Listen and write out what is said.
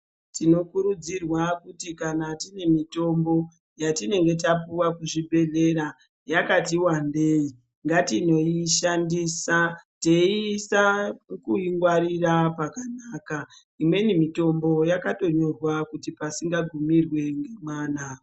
Tinokuridzirwa kuti kana tinemitombo yatinenge tapiwa kuzvibhedlera yakatiwandeyi, ngatinoyishandisa teyiisa kuyingwarira pakanaka. Imweni mitombo yakatonyorwa kuti pasinga gumirwe nemwana.